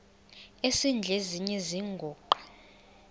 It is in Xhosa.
esidl eziny iziguqa